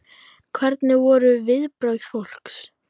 Hver voru viðbrögð fólks?